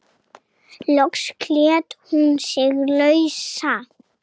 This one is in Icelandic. Loks sleit hún sig lausa.